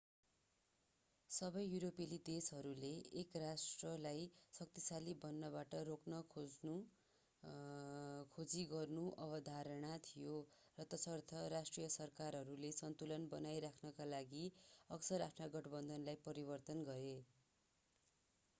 सबै युरोपेली देशहरूले एक राष्ट्रलाई शक्तिशाली बन्नबाट रोक्न खोजी गर्नु अवधारणा थियो र तसर्थ राष्ट्रिय सरकारहरूले सन्तुलन बनाइ राख्नका लागि अक्सर आफ्ना गठबन्धनलाई परिवर्तन गरे